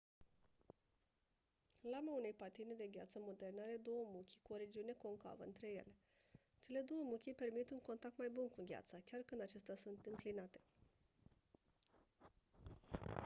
lama unei patine de gheață moderne are două muchii cu o regiune concavă între ele cele 2 muchii permit un contact mai bun cu gheața chiar când acestea sunt înclinate